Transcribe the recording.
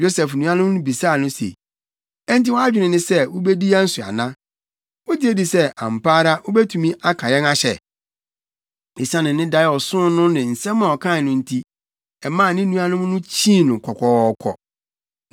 Yosef nuanom no bisaa no se, “Enti wʼadwene ne sɛ wubedi yɛn so ana? Wugye di sɛ, ampa ara, wubetumi aka yɛn ahyɛ?” Esiane ne dae a ɔsoo no ne asɛm a ɔkae no nti, ɛmaa ne nuanom no kyii no kɔkɔɔkɔ.